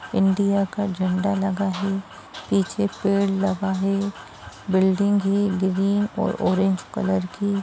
India का झंडा लगा है। पीछे पेड़ लगा है। बिल्डिंग है ग्रीन और ऑरेंज कलर की।